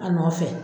A nɔfɛ